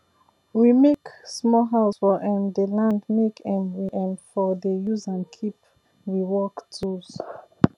we make small house for um dey land make um we um for dey use am keep we work tools